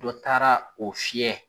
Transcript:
Dɔ taara o fiɲɛ.